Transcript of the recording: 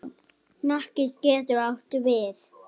Hnakki getur átt við